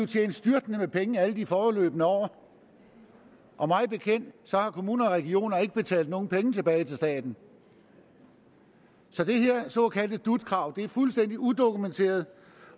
tjent styrtende med penge alle de foregående år og mig bekendt har kommuner og regioner ikke betalt nogen penge tilbage til staten så det her såkaldte dut krav er fuldstændig udokumenteret